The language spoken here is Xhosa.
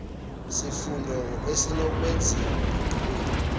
sifundo ezinokwenziwa enqileni